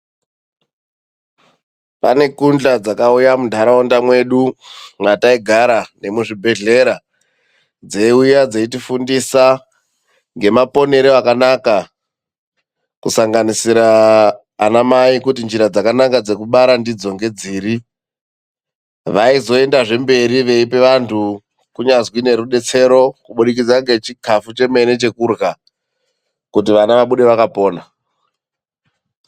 Pane gunhla dzakauya muntaraunda mwedu mwataigara nemuzvibhehlera. Dzeiuya dzeitifundisa ngemaponere akanaka, kusanganisira ana mai kuti njira dzakanaka dzekubara ndidzo ngedziri. Vaizoendazve mberi veipe vantu kunyazwi nerudetsero, kubudikidza nechikafu chemene chekurha, kuti ana abude akapona.